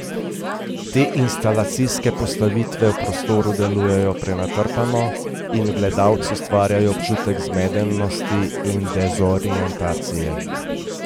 Te instalacijske postavitve v prostoru delujejo prenatrpano in v gledalcu ustvarjajo občutek zmedenosti in dezorientacije.